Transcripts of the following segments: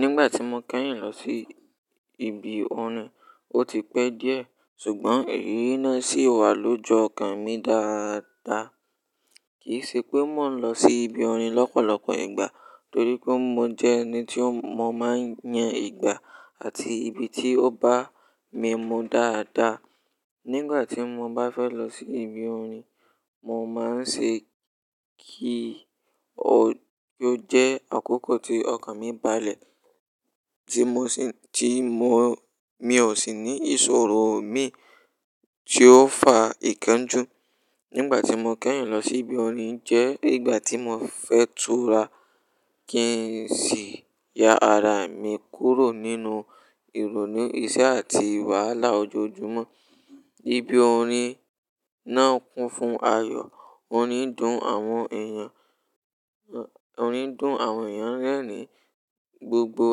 Nígbà tí mo kẹ́yìn lọ sí ibi orin, ó ti pẹ́ díẹ̀ ṣùgbọ́n eyí náà ṣì wà lọ́ju ọkàn mi dáadáa. Kìí ṣe pé mò ń lọ sí ibi orin lọ́pọ̀lọpọ̀ ìgbà torí pé mo jẹ́ ẹni tí mo máa ń yan ìgbà àti ibi tí ó bá mimu dáadáa. Nígbà tí mo bá fẹ́ lọ sí ibi orin, mo máa ń ṣe kí ó jẹ́ àkókò tí ọkàn mi bá le, tí mo sì, tí mo, mi ò sì ní ìṣòro mi tí ó fa ìkanjù. Nígbà tí mo kẹ́yìn lọ sí ibi orin jẹ́ ìgbà tí mo fẹ́ tura kí n sì ya ara mi kúrò nínú ìrọnu iṣẹ́ àti wàhálà ojoojúmọ́. Ibí orin náà kún fún ayọ̀, orin dùn àwọn èèyàn, orin du-ùn àwọn èèyàn rẹ́rìn-ín, gbogbo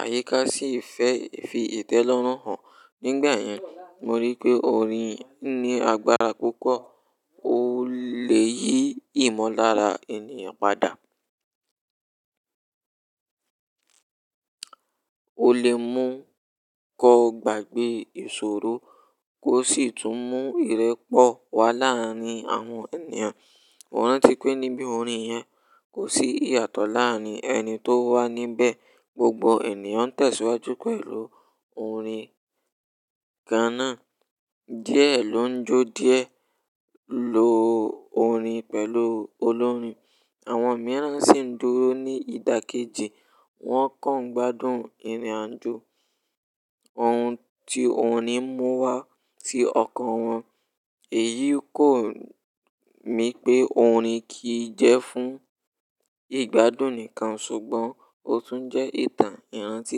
àyíká sì fẹ́ fi ìtẹ́lọ́rùn hàn. Nígbà yẹn, mo rí pé orin ní agbára púpọ̀. Ó lè yí ìmulára ènìyàn padà. Ó lè mú ko gbàgbé ìṣòro kó sì tún mú ìrẹ́pọ̀ wá láárín àwọn ènìyàn. Mo rántí pé níbi orin yẹn kò sí ìyàtọ̀ láárín ẹni tó wà níbẹ̀. Gbogbo ènìyàn tẹ̀síwájú pẹ̀lú orin kan náà. Diẹ ló ń jó, diẹ ló orin pẹ̀lú olórin. Àwọn mìíràn sì ń dúró ní ìdákẹ́je. Wọ́n kàn ń gbádùn ìrìnàjò ohun tí òní mú wá sí ọkàn wọn. Èyí kò mi pé orin kì í jẹ́ fún ìgbádùn nìkan ṣùgbọ́n ó tún jẹ́ ìtàn ìrántí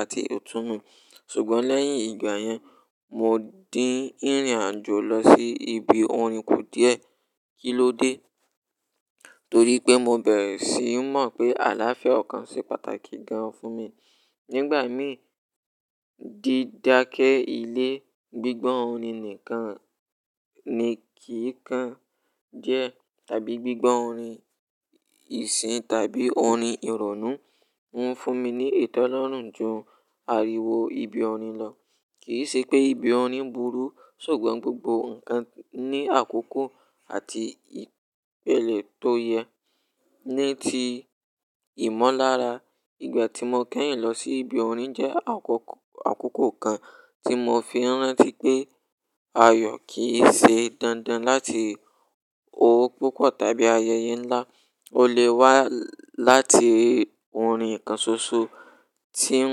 àti itúnmọ̀. Ṣùgbọ́n lẹ́yìn ìgbà yẹn, mo dín ìrìnàjò lọ sí ibi orin kù díẹ̀. Kí ló dé? Torí pé mo bẹ̀rẹ̀ síi mọ̀ pé àlàáfíà ọkàn se pàtàkì gan-an fún mi. Nígbà mí dí dákẹ́ ilé, gbígbọ́ orin nìkan ni kì í kan jẹ́ tàbí gbígbọ́ orin ìsìn tàbí orin ìrònú ń fún mi ní ìtẹ́lọ́rùn ju ariwo ibi orin lọ. Kì í ṣe pé ibi orin burú ṣùgbọ́n gbogbo ǹkan ní àkókò àti ìpẹ̀lẹ̀ tó yẹ ní ti ìmọ̀lára. Ìgbà tí mo kẹ́yìn lọ sí ibi orin jẹ́ àkókò, àkókò kan tí mo fi n rántí pé ayọ̀ kì í ṣe dandan láti owó púpọ̀ tàbí ayẹyẹ ńlá. Ó lè wá láti orin kan ṣoṣo tí ń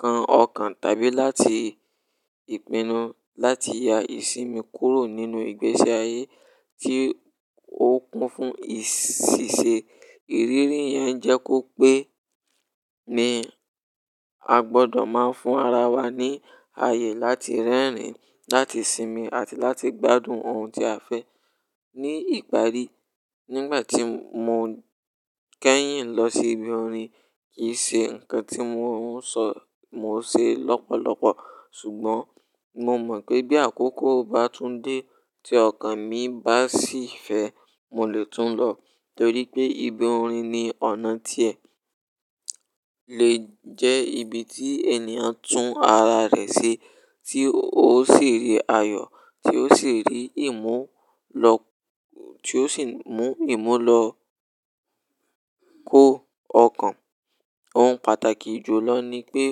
kan ọkàn tàbí láti ìpinnu láti ya ìsinmi kúrò nínú ìgbésí ayé tí ó kún fún ìṣìṣẹ́. Ìrírí yẹn jẹ́ kó pé ní a gbọdọ̀ máa fún ara wa ní ayé láti rẹ́rìn-ín, láti sinmi àti láti gbádùn ohun tí a fẹ́. Ní ìparí, nígbà tí mo kẹ́yìn lọ sí ibi orin kì í ṣe ǹkan tí mò ń sọ mò ṣe lọ́pọ̀lọpọ̀. Ṣùgbọ́n mo mọ̀ pé bí àkókò bá tún dé tí ọkàn mi bá sì fẹ́, mo lè tún lọ torí pé ibi orin ni ọ̀nà tí ẹ lè jẹ́ ibi tí ènìyàn tún ara rẹ̀ ṣe tí ó sì rí ayọ̀, tí ó sì rí ìmú lọ, tí ó sì mú ìmú lọ kó ọkàn. Ohun pàtàkì jùlọ ni pé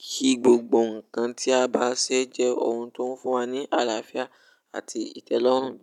kí gbogbo ǹkan tí a bá ṣe jẹ́ ohun tó ń fún wa ní àlàáfíà àti ìtẹ́lọ́rùn.